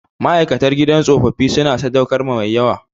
Ma'aikatan gidan tsofaffi suna sadaukarwa mai yawa